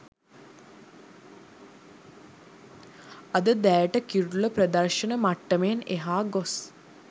අද දැයට කිරුළ ප්‍රදර්ශන මට්ටමෙන් එහා ගොස්